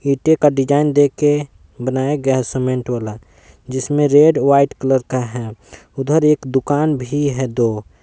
ईंटे का डिज़ाइन दे के बनाया गया है सीमेंट वाला जिसमें रेड व्हाइट कलर का है उधर एक दुकान भी है दो--